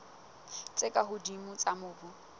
tse ka hodimo tsa mobu